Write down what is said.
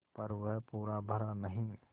पर वह पूरा भरा नहीं